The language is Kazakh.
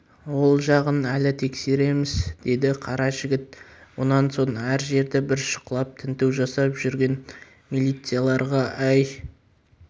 ол жағын әлі тексереміз деді қара жігіт онан соң әр жерді бір шұқылап тінту жасап жүрген милицияларға әй